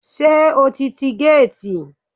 Ṣé o ti ti géètì?